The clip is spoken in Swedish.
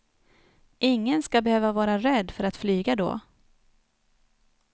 Ingen ska behöva vara rädd för att flyga då.